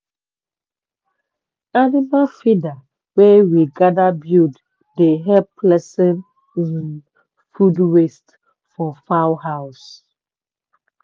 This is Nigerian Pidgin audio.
animal feeder wey we gather buld dey help lessen um food waste for fowl house.